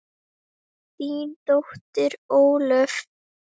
Þín dóttir Ólöf.